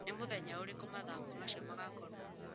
Nĩ mũthenya ũrĩkũ mathako macio magakorũo kuo?